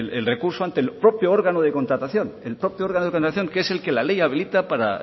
el recurso contra el propio órgano de contratación el propio órgano de contratación que es el que ley habilita para